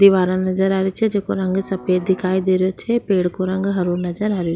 दिवारा नजर आ री छे जेको रंग सफेद दिखाई दे रो छे पेड़ को रंग हरो नजर आ रो।